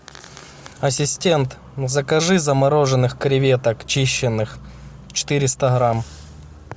ассистент закажи замороженных креветок чищенных четыреста грамм